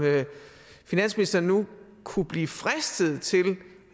finansministeren nu kunne blive fristet til